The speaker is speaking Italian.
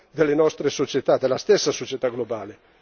delle nostre società, della stessa società globale.